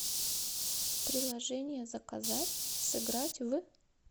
приложение заказать сыграть в